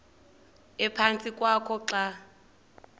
ephantsi kwakho xa